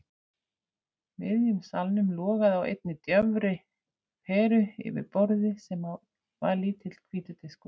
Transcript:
miðjum salnum logaði á einni daufri peru yfir borði sem á var lítill hvítur diskur.